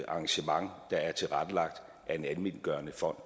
arrangement der er tilrettelagt af en almenvelgørende fond